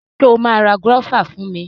Ṣo ma ra gúọ́và fún mi?